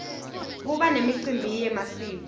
kuba nemicimbi yemasiko